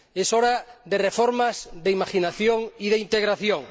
Es hora de reformas, de imaginación y de integración.